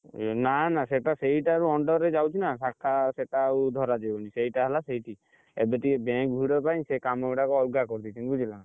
ନା ନା ସେଇଟା ସେଇଟାରୁ under ରେ ଯାଉଛି ନା ଶାଖା ସେଟା ଆଉ ଧରା ଜୀବନି ସେଇଟା ହେଲା ସେଇଠି ଏବେ ଟିକେ bank ଭିଡ଼ ପାଇଁ ସେ କାମ ଗୁଡ଼ାକ ଅଲଗା କରିଦେଇଛି ବୁଝିଲ ନା!